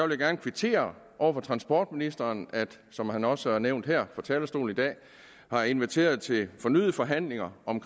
vil gerne kvittere over for transportministeren at som han også har nævnt her fra talerstolen i dag har inviteret til fornyede forhandlinger om